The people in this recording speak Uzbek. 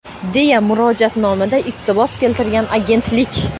deya murojaatnomadan iqtibos keltirgan agentlik..